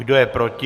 Kdo je proti?